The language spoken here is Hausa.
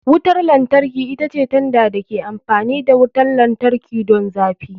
Wutar lantarki ita ce tanda da ke amfani da wutar lantarki don zafi.